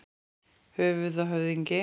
Höfuð og höfðingi.